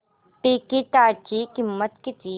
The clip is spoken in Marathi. तिकीटाची किंमत किती